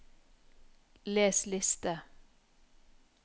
les liste